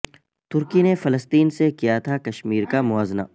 ترکی نے فلسطین سے کیا تھا کشمیر کا موازنہ